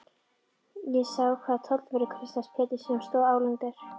Ég sá hvar tollvörðurinn Kristján Pétursson stóð álengdar.